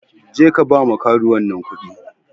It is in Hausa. Jeka ba ma karuwan nan kuɗi.